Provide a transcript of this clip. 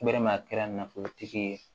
a kɛra nafolotigi ye